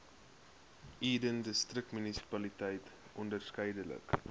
eden distriksmunisipaliteit onderskeidelik